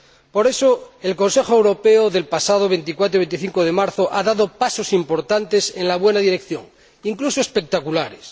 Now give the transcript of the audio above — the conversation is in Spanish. Por eso, el Consejo Europeo de los pasados 24 y 25 de marzo ha dado pasos importantes en la buena dirección, incluso espectaculares.